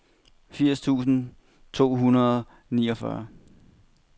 firs tusind to hundrede og niogfyrre